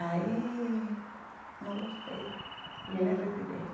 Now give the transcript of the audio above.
Aí não gostei, e aí... Me retirei.